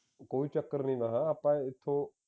ਕੋਈ ਚੱਕਰ ਨਹੀਂ ਮੈਂ ਆਖਿਆ ਏਥੋਂ